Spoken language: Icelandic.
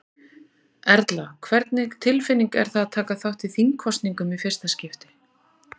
Erla: Hvernig tilfinning er það að taka þátt í þingkosningum í fyrsta skipti?